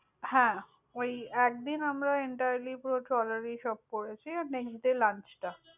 হ্যাঁ। ঐ একদিন আমরা entirely পুরো ট্রলার এই সব করেছি। next day lunch টা।